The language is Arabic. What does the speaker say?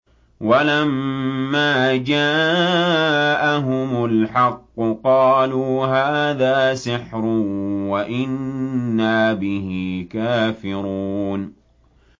وَلَمَّا جَاءَهُمُ الْحَقُّ قَالُوا هَٰذَا سِحْرٌ وَإِنَّا بِهِ كَافِرُونَ